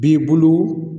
B'i bolo